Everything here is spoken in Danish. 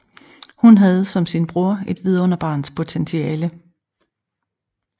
Hun havde som sin bror et vidunderbarns potentiale